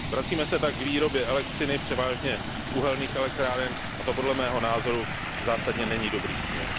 Vracíme se tak k výrobě elektřiny převážně z uhelných elektráren, a to podle mého názoru zásadně není dobrý směr.